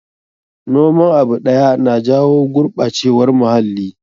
Noman abu ɗaya na jawo gurɓacewar muhalli.